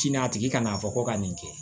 Sini a tigi kan'a fɔ ko ka nin kɛ